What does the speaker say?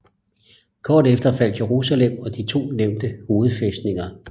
Kort efter faldt Jerusalem og de to nævnte hovedfæstninger